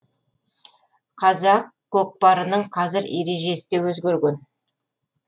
қазақ көкпарының қазір ережесі де өзгерген